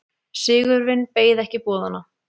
Sigurvin beið ekki boðanna.